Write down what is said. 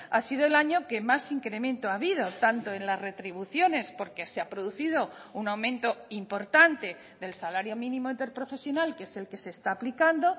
ha sido el año que más incremento ha habido tanto en las retribuciones porque se ha producido un aumento importante del salario mínimo interprofesional que es el que se está aplicando